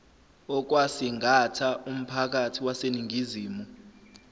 okwasingatha umphakathi waseningizimu